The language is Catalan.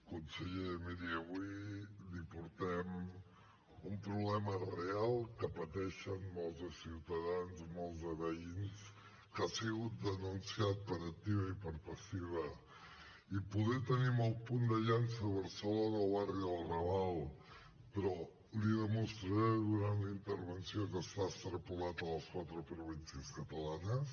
conseller miri avui li portem un problema real que pateixen molts de ciutadans molts de veïns que ha sigut denunciat per activa i per passiva i poder tenim el punt de llança a barcelona al barri del raval però li demostraré durant la intervenció que està extrapolat a les quatre províncies catalanes